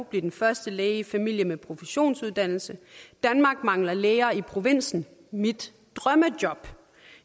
blive den første læge i familien med professionsuddannelse danmark mangler læger i provinsen mit drømmejob